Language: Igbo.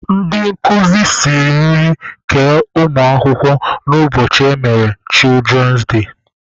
Ndị nkuzi siri nri kee ụmụ akwụkwọ na ụbọchị emere "children day".